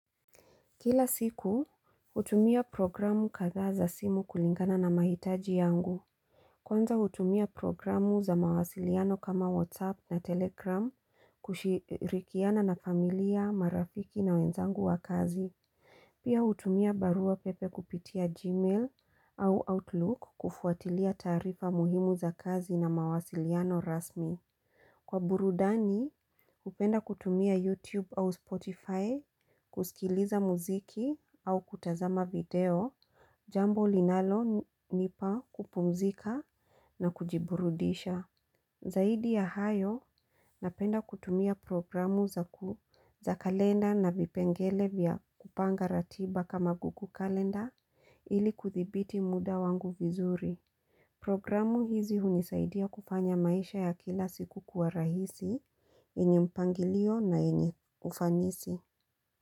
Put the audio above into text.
Kila siku, hutumia programu kadhaa za simu kulingana na mahitaji yangu. Kwanza hutumia programu za mawasiliano kama WhatsApp na Telegram kushirikiana na familia, marafiki na wenzangu wa kazi. Pia hutumia barua pepe kupitia Gmail au Outlook kufuatilia taarifa muhimu za kazi na mawasiliano rasmi. Kwa burudani, hupenda kutumia YouTube au Spotify, kusikiliza muziki au kutazama video, jambo linalonipa kupumzika na kujiburudisha. Zaidi ya hayo, napenda kutumia programu za kalenda na vipengele vya kupanga ratiba kama google kalenda ili kuthibiti muda wangu vizuri. Programu hizi hunisaidia kufanya maisha ya kila siku kwa rahisi, yenye mpangilio na yenye kufanisi.